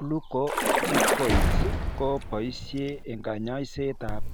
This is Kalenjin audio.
Glucocorticoids ko poishe eng kanyaiset ab